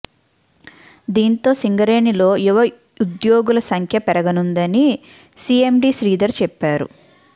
దీంతో సింగరేణిలో యువ ఉద్యోగుల సంఖ్య పెరగనుందని సిఎండి శ్రీ్ధర్ చెప్పారు